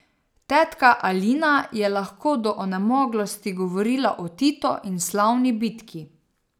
Tetka Alina je lahko do onemoglosti govorila o Titu in slavni bitki.